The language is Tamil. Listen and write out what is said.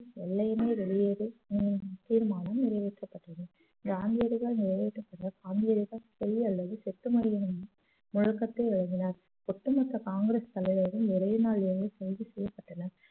வெள்ளையனே வெளியேறு என்னும் தீர்மானம் நிறைவேற்றப்பட்டது காந்தியடிகள் நிறைவேற்றப்பட்ட காந்தியடிகள் செய் அல்லது செத்து மடி என்னும் முழக்கத்தை எழுதினார் ஒட்டுமொத்த காங்கிரஸ் தலைவரும் ஒரே நாள் அன்று கைது செய்யப்பட்டனர்